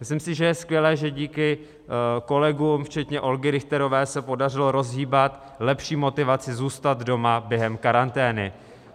Myslím si, že je skvělé, že díky kolegům, včetně Olgy Richterové, se podařilo rozhýbat lepší motivaci zůstat doma během karantény.